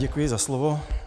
Děkuji za slovo.